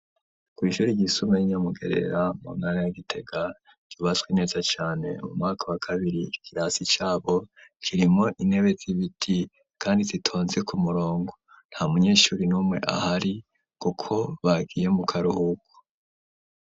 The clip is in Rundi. Kw'shuri ryisumbuye ryinya mu Gerera mu ntara ya Gitega ryubatswe neza cane mu mwaka wa kabiri ikirasi cabo kirimo intebe z'ibiti kandi zitonze ku murongo ntamunyeshuri n'umwe ahari kuko bagiye mu karuhuko.